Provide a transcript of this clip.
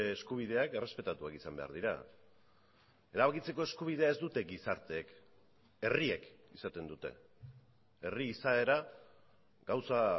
eskubideak errespetatuak izan behar dira erabakitzeko eskubidea ez dute gizarteek herriek izaten dute herri izaera gauza